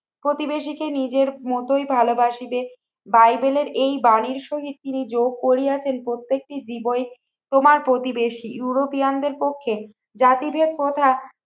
প্রতিবেশীকে নিজের মতোই ভালোবাসিবে বাইবেলের এই বাণীর সহিত তিনি যোগ করিয়াছেন প্রত্যেকটি জীবই তোমার প্রতিবেশী ইউরোপিয়ানদের পক্ষে জাতিভেদ প্রথা